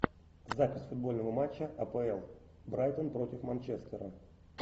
запись футбольного матча апл брайтон против манчестера